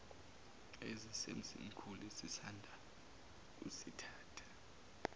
esisemzimkhulu esisanda kusithatha